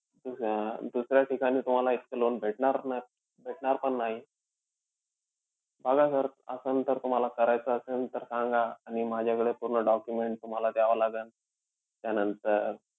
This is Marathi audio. अं दुसऱ्या ठिकाणी तुम्हाला इतकं loan भेटणार भेटणार पण नाही. बघा sir असंन तर तुम्हाला करायचं असंन, तर सांगा आणि माझ्याकडे पूर्ण documents तुम्हाला द्यावं लागन. त्यानंतर,